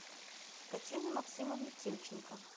татьяне максимовне тимченко